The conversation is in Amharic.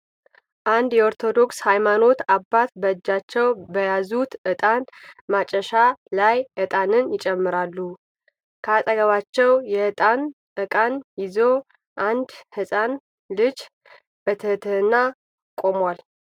አንድ የኦርቶዶክስ ሃይማኖት አባት በእጃቸው በያዙት እጣን ማጨሻ ላይ እጣንን ይጨምራሉ። ከአጠገባቸው የእጣን እቃን ይዞ አንድ ህጻን ልጅ በትህትና ቆሟል።